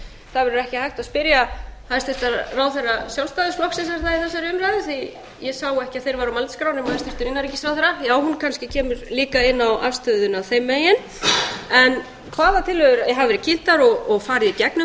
það verður ekki hægt að spyrja hæstvirta ráðherra sjálfstæðisflokksins er það í þessari umræðu því að ég sá ekki að þeir væru á mælendaskrá nema hæstvirtur innanríkisráðherra já hún kannski kemur líka inn á afstöðuna þeim megin hvaða tillögur hafa verið kynntar og farið í gegnum